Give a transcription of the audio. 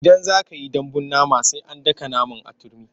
Idan za ka yi dambun nama sai an daka naman a turmi.